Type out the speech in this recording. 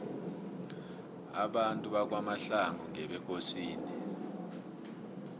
abantu bakwamahlangu ngebekosini